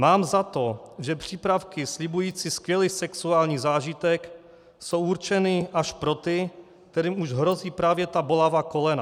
Mám za to, že přípravky slibující skvělý sexuální zážitek jsou určeny až pro ty, kterým už hrozí právě ta bolavá kolena.